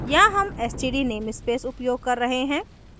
यहाँ हम std namespace उपयोग कर रहे हैं